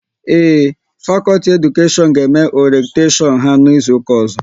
Ee, fakọlti Edukashion ga eme oretashon ha n'izuka ozo